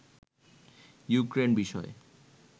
Ukraine বিষয়ে